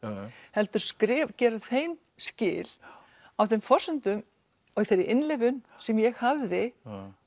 heldur gera þeim skil á þeim forsendum og af þeirri innlifun sem ég hafði